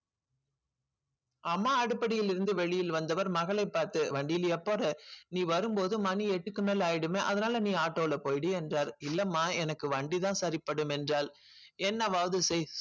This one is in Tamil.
அம்மா அடுப்படியில் இருந்து வெளியில் வந்தவர் மகளைப் பார்த்து வண்டியில் எப்போது நீ வரும்போது மணி எட்டுக்கு மேல் ஆயிடுமே அதனால நீ auto ல போயிடு என்றார் இல்லம்மா எனக்கு வண்டிதான் சரிப்படும் என்றாள் என்னவாவது செய்